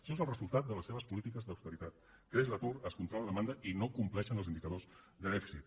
això és el resultat de les seves polítiques d’austeritat creix l’atur es contrau la demanda i no compleixen els indicadors de dèficit